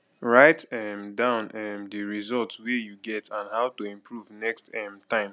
write um down um di result wey you get and how to improve next um time